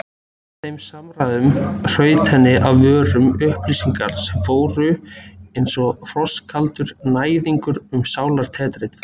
Í þeim samræðum hrutu henni af vörum upplýsingar sem fóru einsog frostkaldur næðingur um sálartetrið.